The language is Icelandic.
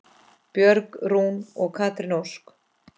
Björg Rún og Katrín Ósk.